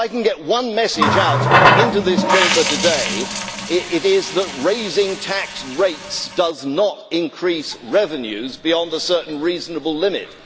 If I can get one message out into this Chamber today, it is that raising tax rates does not increase revenues beyond a certain reasonable limit.